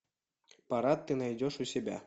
парад ты найдешь у себя